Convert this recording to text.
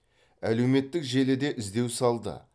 әлеуметтік желіде іздеу салды